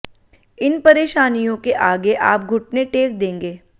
इन परेशानियों के आगे आप घुटने टेक देंगे